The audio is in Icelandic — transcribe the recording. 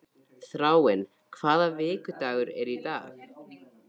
Þráinn, hvaða vikudagur er í dag?